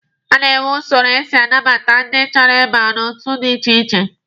A na-enwe usoro esi anabata ndị chọrọ ịba n'otu dị iche iche.